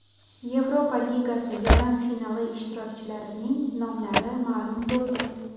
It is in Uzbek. Yevropa ligasi yarim finali ishtirokchilarining nomlari ma’lum bo‘ldi.